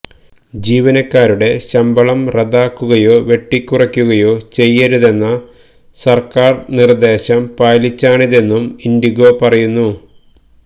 ജീവനക്കാരുടെ ശമ്പളം റദ്ദാക്കുകയോ വെട്ടിക്കുറയ്ക്കുകയോ ചെയ്യരുതെന്ന സര്ക്കാര് നിര്മദശം പാലിച്ചാണിതെന്നും ഇന്ഡിഗോ പറയുന്നു